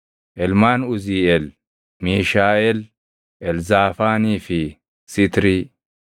Ilmaan Uziiʼeel: Miishaaʼeel, Elzaafaanii fi Sitrii.